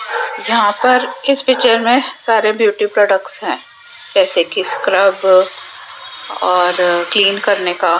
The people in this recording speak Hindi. यहां पर इस पिक्चर में सारे ब्यूटी प्रोडक्ट्स हैं जैसे कि स्क्रब और क्लीन करने का --